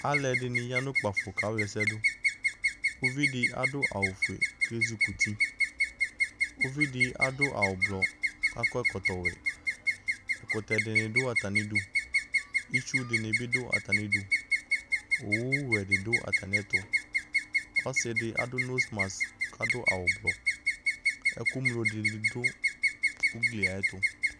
Alʋɛdɩnɩ ya nʋ kpafo kawlɛsɛdʋ, uvidɩ adʋ awʋfue k'ezikuti ; uvidɩ adʋ awʋblɔ k'akɔ ɛkɔwɛ Ɛkʋtɛdɩnɩ dʋ atamidu , itsudɩnɩ bɩ dʋ atamidu, owuwɛ dɩ dʋ atamɩɛtʋ Ɔsɩdɩ adʋ nosmas k'adʋ awʋblɔ , ɛkʋŋlo dɩnɩ dʋ ugliayɛtʋ